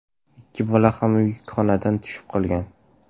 Ikki bola ham yukxonadan tushib qolgan.